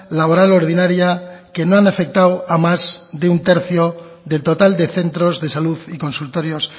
laboral ordinaria que no han afectado a más de un tercio del total de centros de salud y consultorios